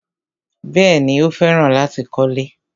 Bẹ́ẹ̀ni, Ó fẹ́ràn láti kọ́lẹ́.